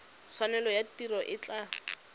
tshwanelo ya tiro e tla